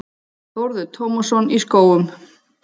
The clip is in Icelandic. Þórður Tómasson í Skógum